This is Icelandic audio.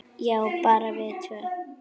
Já, bara við tvö.